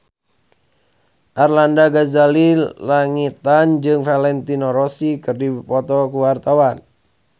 Arlanda Ghazali Langitan jeung Valentino Rossi keur dipoto ku wartawan